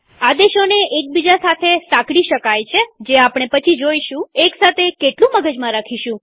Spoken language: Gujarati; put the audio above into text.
આદેશોને એક બીજા સાથે સાંકળી શકાય છે જે આપણે પછી જોઈશુંએક સાથે કેટલું મગજમાં રાખીશું